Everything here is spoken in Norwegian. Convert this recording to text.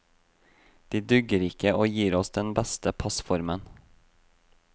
De dugger ikke og gir oss den beste passformen.